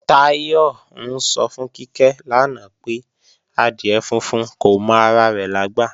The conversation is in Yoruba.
Táyọ̀ ń sọ fún Kíkẹ́ lánàá pé, adìẹ funfun kò mọ ara rẹ̀ lágbà